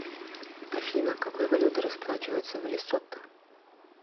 афина какой валютой расплачиваются в лесото